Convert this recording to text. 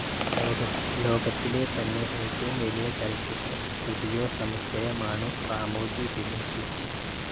ലോകത്തിലെ തന്നെ ഏറ്റവും വലിയ ചലച്ചിത്ര സ്റ്റുഡിയോ സമുച്ചയമാണു റാമോജി ഫിലിം സിറ്റി.